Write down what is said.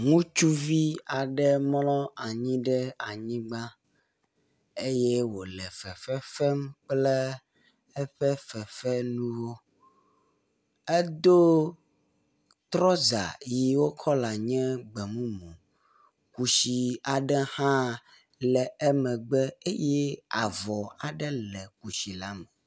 Ŋutsuvi aɖe mlɔ anyi ɖe anyigba eye wòle fefe fem kle eƒe fefe nuwo, edo tyrɔza yiwo kɔla nye gbe mumu, kusi aɖe hã le emegbe eye avɔ aɖe le kusi la me.